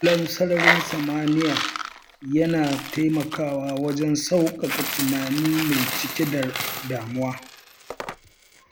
Kallon sararin samaniya yana taimakawa wajen sauƙaƙa tunani mai cike da damuwa.